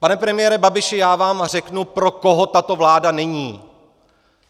Pane premiére Babiši, já vám řeknu, pro koho tato vláda není.